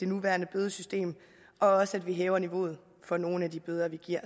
nuværende bødesystem og også at vi hæver niveauet for nogle af de bøder vi giver